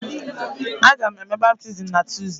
Aga m eme baptizim na Tuzdee.